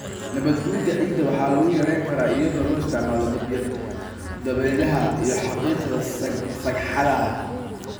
Nabaadguurka ciidda waxa lagu yarayn karaa iyadoo la isticmaalo dabaylaha iyo xaaqidda sagxadaha.